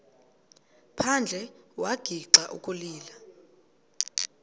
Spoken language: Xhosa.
phandle wagixa ukulila